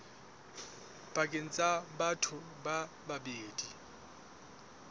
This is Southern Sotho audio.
pakeng tsa batho ba babedi